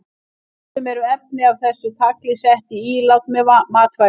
Stundum eru efni af þessu tagi sett í ílát með matvælum.